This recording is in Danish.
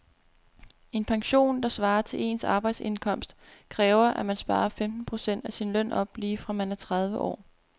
En pension, der svarer til ens arbejdsindkomst, kræver at man sparer femten procent af sin løn op lige fra man er tredive år.